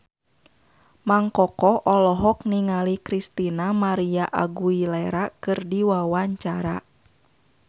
Mang Koko olohok ningali Christina María Aguilera keur diwawancara